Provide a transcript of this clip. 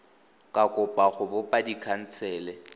ka kopa go bopa dikhansele